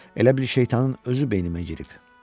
Elə bil şeytanın özü beynimə girib.